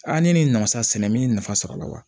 ne ni nafa sɛnɛ min ye nafa sɔrɔ a la wa